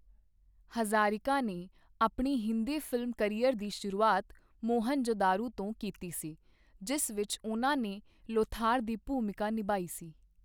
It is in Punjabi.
ਹਜ਼ਾਰਿਕਾ ਨੇ ਆਪਣੀ ਹਿੰਦੀ ਫਿਲਮ ਕਰਿਅਰ ਦੀ ਸ਼ੁਰੂਆਤ 'ਮੋਹਨਜੋਦਾਰੋ ' ਤੋਂ ਕੀਤੀ ਸੀ, ਜਿਸ ਵਿੱਚ ਉਨ੍ਹਾਂ ਨੇ 'ਲੋਥਾਰ' ਦੀ ਭੂਮਿਕਾ ਨਿਭਾਈ ਸੀ।